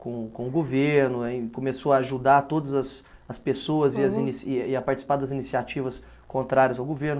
Com com o governo, aí começou a ajudar todas as as pessoas e as inici e a e a participar das iniciativas contrárias ao governo.